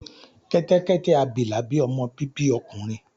kẹtẹkẹtẹ abilà bí ọmọ bibi ọkùnrin.